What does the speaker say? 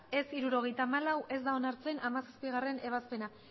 ez hirurogeita hamalau ez da onartzen hamazazpigarrena ebazpena